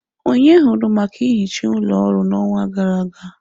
Onye hụru maka nhicha ụlọ ọrụ n'ọnwa gara aga?